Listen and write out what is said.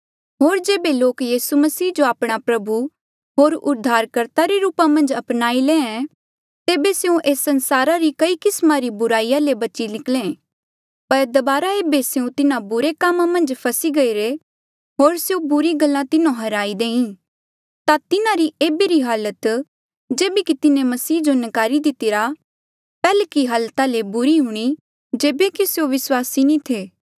होर जेबे लोक यीसू मसीह जो आपणा प्रभु होर उद्धारकर्ता रे रूपा मन्झ अपनाई ले तेबे स्यों एस संसारा री कई किस्मा री बुराई ले बची निकले पर दबारा ऐबे स्यों तिन्हा बुरे कामा मन्झ फसी गईरे होर स्यों बुरी गल्ला तिन्हो हराई देईं ता तिन्हारी ऐबे री हालत जेबे की तिन्हें मसीह जो नकारी दितेया पैहल्की हालता ले बुरी हूणीं जेबे की स्यों विस्वासी नी थे